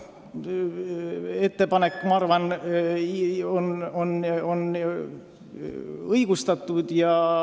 Ettepanek on minu arvates õigustatud.